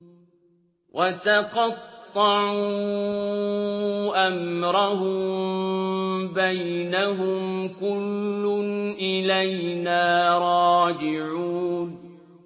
وَتَقَطَّعُوا أَمْرَهُم بَيْنَهُمْ ۖ كُلٌّ إِلَيْنَا رَاجِعُونَ